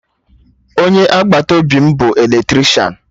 Onye agbata obi m bụ Eletrishan